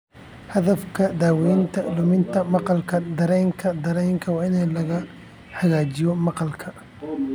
Hadafka daawaynta luminta maqalka dareenka dareenka waa in la hagaajiyo maqalka.